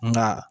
Nka